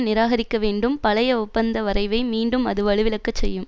நிராகரிக்க வேண்டும் பழைய ஒப்பந்த வரைவை மீண்டும் அது வலுவிழக்க செய்யும்